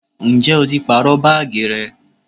Ǹjẹ́ o ti pàrọ baagi rẹ?